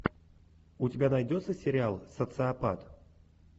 у тебя найдется сериал социопат